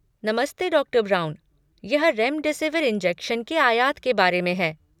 नमस्ते, डॉ. ब्राउन। यह रेमडेसिविर इंजेक्शन के आयात के बारे में है।